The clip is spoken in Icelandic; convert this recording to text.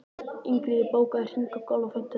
Ingiríður, bókaðu hring í golf á fimmtudaginn.